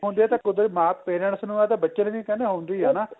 ਹੁਣ ਜੇ ਤਾਂ ਕੁਦਰਤੀ ਮਾਸ parents ਨੂੰ ਏ ਤਾਂ ਬੱਚੇ ਨੂੰ ਨਵੀ ਕਹਿੰਦੇ ਹੁੰਦੀ ਏ ਹਨਾ